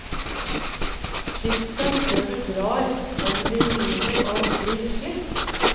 Skift dem før du drar om de begynner å bli slitt.